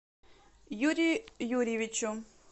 юрию юрьевичу